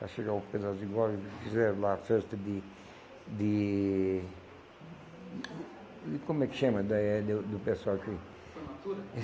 para chegar o e fizeram lá a festa de... de... e e como é que chama, daí é do pessoal que... Formatura?